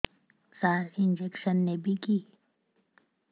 ସାର injection ନେବିକି